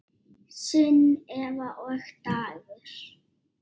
Sunneva og Dagur.